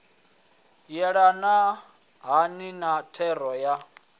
yelana hani na thero ya